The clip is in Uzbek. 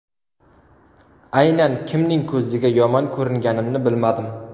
Aynan kimning ko‘ziga yomon ko‘ringanimni bilmadim.